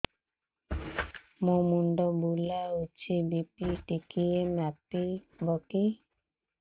ମୋ ମୁଣ୍ଡ ବୁଲାଉଛି ବି.ପି ଟିକିଏ ମାପିବ କି